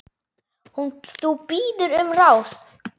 Þú biður um ráð.